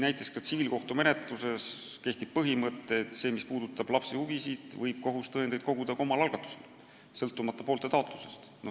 Näiteks tsiviilkohtumenetluses kehtib põhimõte, et mis puudutab laste huvisid, siis võib kohus tõendeid koguda ka omal algatusel, sõltumata poolte taotlusest.